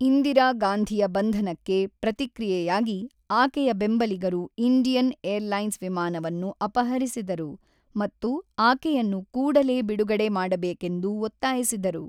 ಇಂದಿರಾಗಾಂಧಿಯ ಬಂಧನಕ್ಕೆ ಪ್ರತಿಕ್ರಿಯೆಯಾಗಿ, ಆಕೆಯ ಬೆಂಬಲಿಗರು ಇಂಡಿಯನ್ ಏರ್ಲೈನ್ಸ್ ವಿಮಾನವನ್ನು ಅಪಹರಿಸಿದರು ಮತ್ತು ಆಕೆಯನ್ನು ಕೂಡಲೇ ಬಿಡುಗಡೆ ಮಾಡಬೇಕೆಂದು ಒತ್ತಾಯಿಸಿದರು.